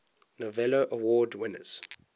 novello award winners